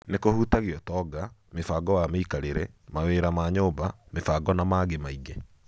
Nĩ kũhutagia ũtonga, mĩbango wa mĩikarĩre, mawira ma nyũmba, mĩbango na mangĩ maingĩ.